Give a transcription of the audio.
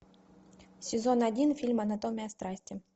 сезон один фильм анатомия страсти